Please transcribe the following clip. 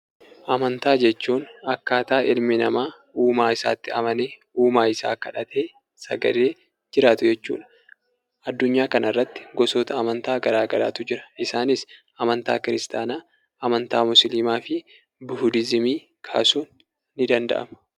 Amantaa jechuun akkaataa ilmi namaa uumaa isaatti amanee, uumaa isaa kadhatee, sagadee jiraatu jechuu dha. Addunyaa kanarratti gosoota amantaa garaagaraatu jira. Isaanis amantaa kiristaanaa, amantaa Muslimaa fi Buhudizimii kaasuun ni danda'ama.